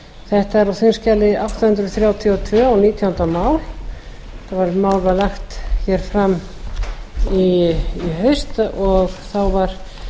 þetta er á þingskjali átta hundruð þrjátíu og tvö og nítjánda mál þetta mál var lagt hér fram í haust og þá var